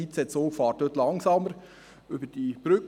Jeder IC-Zug fährt dort langsamer über diese Brücke.